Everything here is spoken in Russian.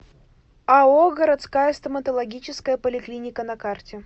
ао городская стоматологическая поликлиника на карте